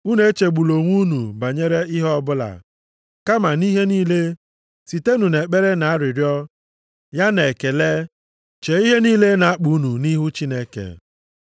Unu echegbula onwe unu banyere ihe ọbụla. Kama nʼihe niile, sitenụ nʼekpere na arịrịọ, ya na ekele, chee ihe niile na-akpa unu nʼihu Chineke.